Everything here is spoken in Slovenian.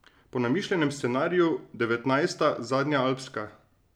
Po namišljenem scenariju devetnajsta, zadnja alpska.